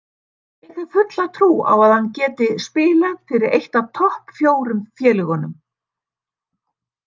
Ég hef fulla trú á að hann geti spilað fyrir eitt af topp fjórum félögunum.